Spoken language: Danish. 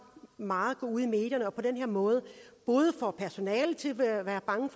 meget ud i medierne og på den her måde både får personalet til at være bange